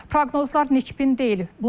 Proqnozlar nikbin deyil.